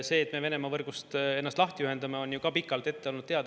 See, et me Venemaa võrgust ennast lahti ühendame, on ju ka pikalt ette olnud teada.